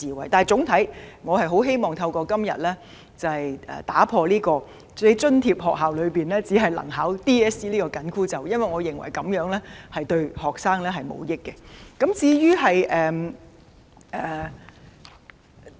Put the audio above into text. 然而，總體而言，我很希望今天能打破津貼學校學生只可報考 DSE 這個"緊箍咒"，因為我認為這對學生毫無益處。